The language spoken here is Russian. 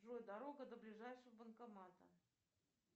джой дорога до ближайшего банкомата